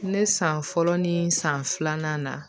Ne san fɔlɔ ni san filanan na